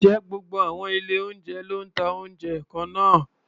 Ǹjẹ́ gbogbo àwọn ilé-oúnjẹ ló ń ta oúnjẹ kan náà?